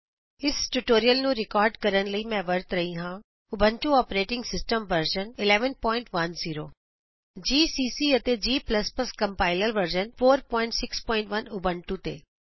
ਇਸ ਟਯੂਟੋਰਿਅਲ ਨੂੰ ਰਿਕਾਰਡ ਕਰਨ ਲਈ ਮੈਂ ਵਰਤ ਰਹੀ ਹਾਂ Ubuntu operating system version 1110 GCC ਅਤੇ g ਕੰਪਾਇਲਰ ਵਰਜ਼ਨ 461 ਉਬੰਟੂ ਤੇ